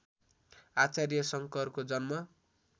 आचार्य शङ्करको जन्म